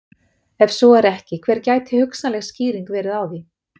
Ef svo er ekki hver gæti hugsanleg skýring verið á því?